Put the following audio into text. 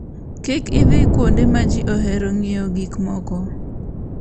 Kik idhi kuonde ma ji ohero ng'iewo gik moko.